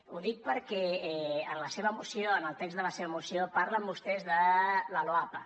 ho dic perquè en la seva moció en el text de la seva moció parlen vostès de la loapa